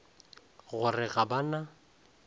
go re ga ba na